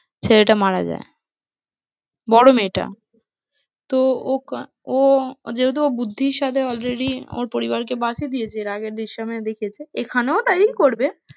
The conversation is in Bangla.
ছেলেটা মারা বড়ো মেয়েটা তো ও ও যেহেতু ও বুদ্ধির সাথে already ওর পরিবারকে বাঁচিয়ে দিয়েছে এর আগের জিসিমে দেখিয়েছে এখানেও তাই করবে